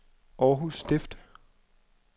Århus Stift